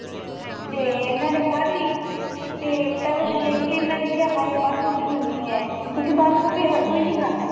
ਤੇ ਮੈਨੇ ਖਾਦੀ ਤੇ ਪਹਿਲੇ ਦੇਖ ਕੇ ਇੰਨਾ ਨੇ ਕਿਹਾ ਬੰਦ ਗੋਭੀ ਬਣੀ ਏ ਕਿਉਂਕਿ ਬੰਦ ਗੋਭੀ ਹਰ ਕੋਈ ਖਾਂਦਾ